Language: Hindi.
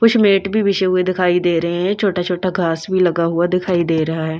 कुछ मैट भी बिशे हुए दिखाई दे रहे हैं छोटा-छोटा घास भी लगा हुआ दिखाई दे रहा है।